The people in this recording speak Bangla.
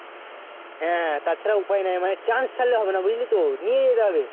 হ্যাঁ হ্যাঁ তাছাড়া উপায় নাই মানে Chanace ছাড়লে হবে না বুঝলি তো নিয়ে যেতে হবে